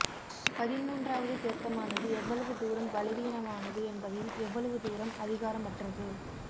பதின்மூன்றாவது திருத்தமானது எவ்வளவு தூரம் பலவீனமானது என்பதையும் எவ்வளவு தூரம் அதிகாரமற்றது